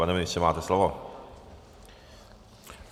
Pane ministře, máte slovo.